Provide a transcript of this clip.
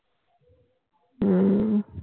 হম